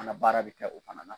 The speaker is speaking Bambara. An ka baara bɛ kɛ o fana na.